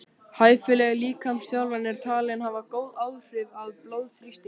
Hæfileg líkamsþjálfun er talin hafa góð áhrif á blóðþrýsting.